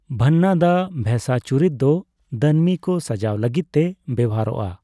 ᱵᱟᱱᱱᱟᱫᱟ ᱵᱷᱮᱹᱥᱟ ᱪᱩᱨᱤᱛ ᱫᱚ ᱫᱟᱹᱱᱢᱤ ᱠᱚ ᱥᱟᱡᱟᱣ ᱞᱟᱹᱜᱤᱫᱛᱮ ᱵᱮᱣᱦᱟᱨᱚᱜᱼᱟ ᱾